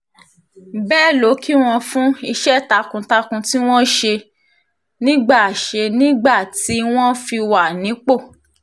bẹ́ẹ̀ ló kí wọn fún iṣẹ́ takuntakun tí wọ́n ṣe nígbà ṣe nígbà tí wọ́n fi wà nípò